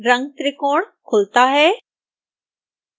रंगत्रिकोण खुलता है